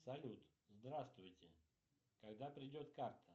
салют здравствуйте когда придет карта